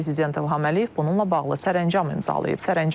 Prezident İlham Əliyev bununla bağlı sərəncam imzalayıb.